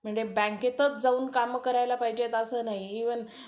म्हणजे बँकेतच जाऊन कामं करायला पाहिजेत असं नाही, इव्हन